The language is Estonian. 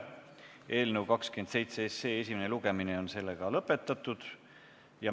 Eelnõu 27 esimene lugemine on lõppenud.